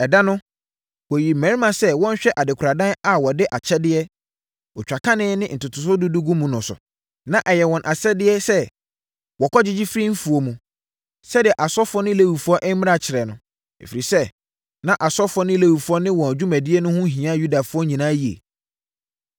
Ɛda no, wɔyii mmarima sɛ wɔnhwɛ adekoradan a wɔde akyɛdeɛ, otwakane ne ntotosoɔ dudu gu mu no so. Na ɛyɛ wɔn asɛdeɛ sɛ wɔkɔgyegye firi mfuo mu, sɛdeɛ asɔfoɔ ne Lewifoɔ mmara kyerɛ no, ɛfiri sɛ, na asɔfoɔ ne Lewifoɔ ne wɔn dwumadie no ho hia Yudafoɔ nyinaa yie.